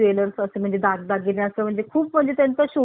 खूप म्हणजे त्यांचा शोरूम इतका भरलेला असतो